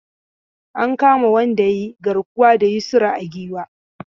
An kama wanda ya yi garkuwa da Yusra a Giwa.